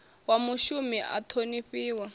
wa mushumi a a ṱhonifhiwa